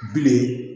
Bilen